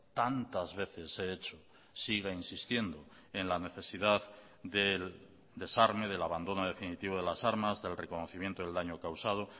tantas veces he hecho siga insistiendo en la necesidad del desarme del abandono definitivo de las armas del reconocimiento del daño causado